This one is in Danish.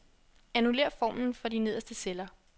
Annullér formlen for de nederste celler.